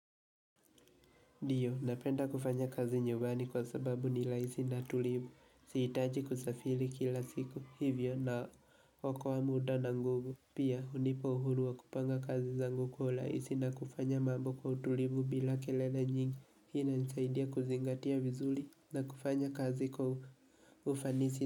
Ndiyo napenda kufanya kazi nyumbani kwa sababu ni rahisi na tulivu. Sihitaji kusafiri kila siku hivyo na akoa muda na nguvu pia hunipa uhuru wa kupanga kazi zangu kwa urahisi na kufanya mambo kwa utulivu bila kelele nyingi. Hii inanisaidia kuzingatia vizuri na kufanya kazi kwa ufanisi.